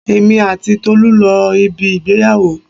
Èmi àti Tolu lọ ibi ìgbéyàwó.